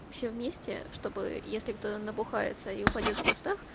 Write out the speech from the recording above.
все вместе чтобы если кто-то набухается и упадёт в кустах